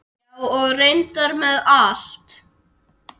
Já, og reyndar með allt.